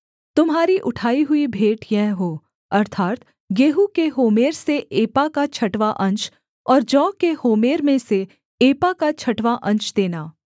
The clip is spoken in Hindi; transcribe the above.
तुम्हारी उठाई हुई भेंट यह हो अर्थात् गेहूँ के होमेर से एपा का छठवाँ अंश और जौ के होमेर में से एपा का छठवाँ अंश देना